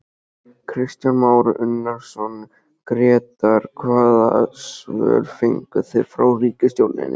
Kristján Már Unnarsson, Grétar hvaða svör fenguð þið frá ríkisstjórninni?